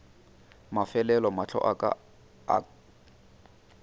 mafelelo mahlo a ka a